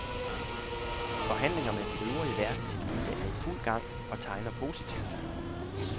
Forhandlinger med den øvrige verdenselite er i fuld gang og tegner positivt.